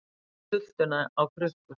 Setjum sultuna á krukkur